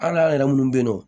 An n'an yɛrɛ munnu be yen nɔ